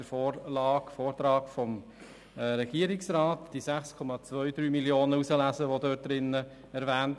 Dem Vortrag des Regierungsrats kann man auf einfache Weise entnehmen, dass es sich um 6,23 Mio. Franken handelt.